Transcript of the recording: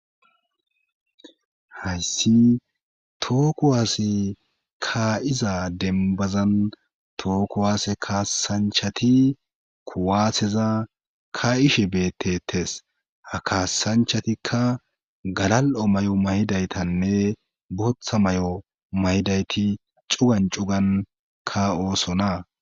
Haysi toho kuwas ka'iza dembazan tookuwaase kaassanchati kuwaatheza ka'ishe beettettes ha kaasanchatikka galal'o may'o may'daytanne bootha may'o maydayti cugan cugan ka oosona.